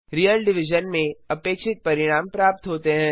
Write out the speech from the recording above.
real division में अपेक्षित परिणाम प्राप्त होते हैं